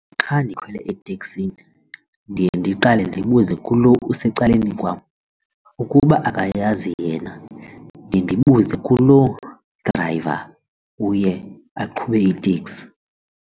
Xa ndikhwele eteksini ndiye ndiqale ndibuze kulo usecaleni kwam, ukuba akayazi yena ndiye ndibuzo kuloo driver uye aqhube iteksi.